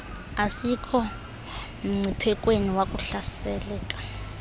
asikho mngciphekweni wakuhlaseleka